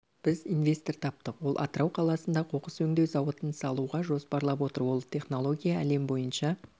біз инвестор таптық ол атырау қаласында қоқыс өңдеу зауытын салуға жоспарлап отыр ол технология әлем бойынша